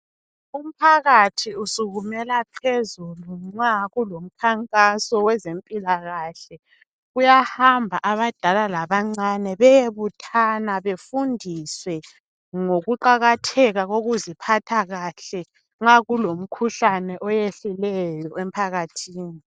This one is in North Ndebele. Umphakathi uksuskumela phezulu nxa kulomkhankaso wezempilakahle. Kuyahamba abadala labancane beyebuthana bafundiswe ngokuqakatheka kokuziphatha kahle nxa kulomkhuhlane oyehlileyo emphakathini.